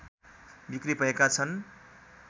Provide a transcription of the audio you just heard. बिक्री भएका छन्